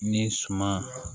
Ni suman